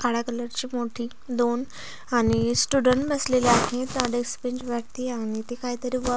काळ्या कलर ची मोठी दोन आणि स्टुडंट बसलेले आहेत डेस्क बेंच वरती आणि ते काही तरी वर्क --